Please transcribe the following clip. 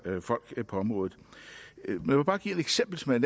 folk på området lad mig bare give et eksempel som er